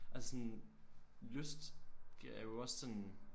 Altså sådan lyst er jo også sådan